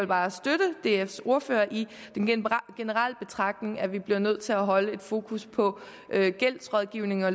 bare støtte dfs ordfører i den generelle betragtning om at vi bliver nødt til at holde fokus på gældsrådgivning og